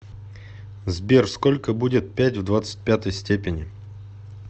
сбер сколько будет пять в двадцать пятой степени